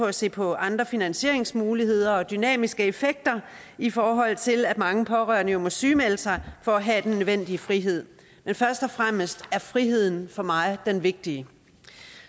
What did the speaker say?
at se på andre finansieringsmuligheder og dynamiske effekter i forhold til at mange pårørende jo må sygemelde sig for at have den nødvendige frihed men først og fremmest er friheden for mig det vigtige